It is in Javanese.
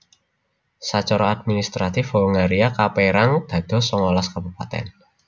Sacara administratif Hongaria kapérang dados songolas kabupatèn